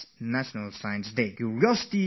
Curiosity is the mother of science